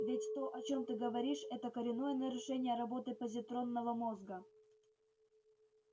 ведь то о чём ты говоришь это коренное нарушение работы позитронного мозга